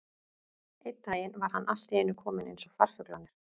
Einn daginn var hann allt í einu kominn eins og farfuglarnir.